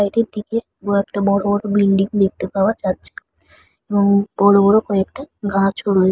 বাড়িটির দিকে দুএকটা বড়ো বড়ো বিল্ডিং দেখতে পাওয়া যাচ্ছে এবং বড়ো বড়ো কয়েকটা গাছও রয়ে--